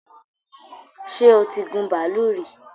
ṣẹ́ o tí gun bàálù rí?